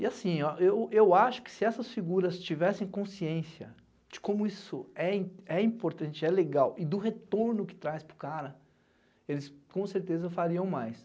E assim ó, eu eu acho que se essas figuras tivessem consciência de como isso é im é importante, é legal, e do retorno que traz para o cara, eles com certeza fariam mais.